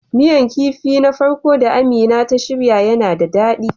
Miyan kipin na farko da Amina ta shirya yana da dadi.